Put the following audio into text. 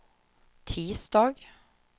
tisdag